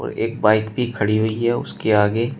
एक बाइक भी खड़ी हुई है उसके आगे।